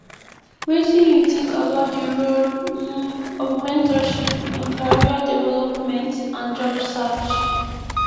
wetin you think about di role um of mentorship in career development and job search